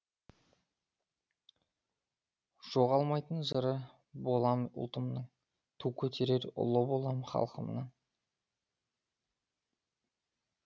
жоғалмайтын жыры болам ұлтымның ту көтерер ұлы болам халқымның